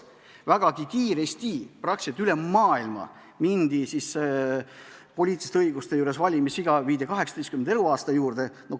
Vägagi kiiresti mindi praktiliselt üle maailma poliitilisi õigusi laiendades üle sellele, et valimiseaks kehtestati vähemalt 18 eluaastat.